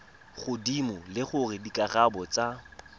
godimo le gore dikarabo tsa